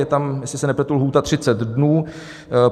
Je tam, jestli se nepletu, lhůta 30 dnů.